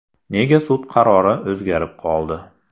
Nega sud qarori o‘zgarib qoldi?